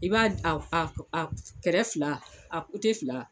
I b'a a a a kɛrɛfɛ fila a kote fila.